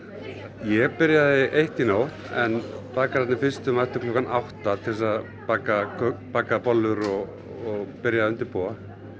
ég byrjaði eitt í nótt en bakararnir fyrstu mættu klukkan átta til þess að baka baka bollur og byrja að undirbúa